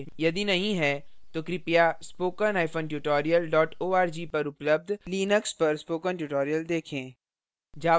यदि नहीं है तो कृपया spokentutorial org पर उपलब्ध लिनक्स पर spoken tutorial देखें